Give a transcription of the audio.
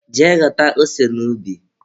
Jee ghọta ose n'ubi.